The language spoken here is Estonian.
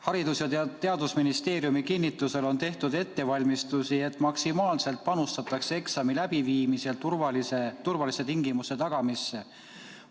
Haridus- ja Teadusministeeriumi kinnitusel on tehtud ettevalmistusi, et maksimaalselt panustatakse eksami läbiviimisel turvaliste tingimuste tagamisse.